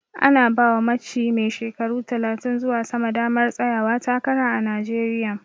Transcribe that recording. Ana bawa matshi mai shekaru talatin zuwa sama damar tsayawa takara a Najeriya